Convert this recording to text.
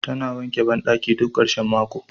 Tana wanke bandaki duk karshen mako.